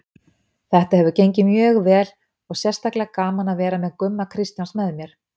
Þetta hefur gengið mjög vel og sérstaklega gaman að vera með Gumma Kristjáns með mér.